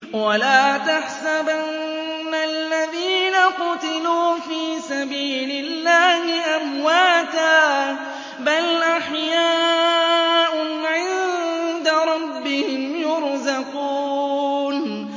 وَلَا تَحْسَبَنَّ الَّذِينَ قُتِلُوا فِي سَبِيلِ اللَّهِ أَمْوَاتًا ۚ بَلْ أَحْيَاءٌ عِندَ رَبِّهِمْ يُرْزَقُونَ